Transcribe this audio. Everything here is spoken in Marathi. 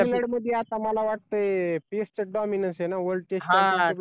आता मला वाटतंय पेसचं च dominance ए ना world test